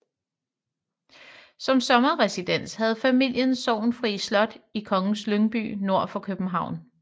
Som sommerresidens havde familien Sorgenfri Slot i Kongens Lyngby nord for København